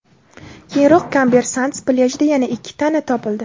Keyinroq Kamber Sands plyajida yana ikki tana topildi.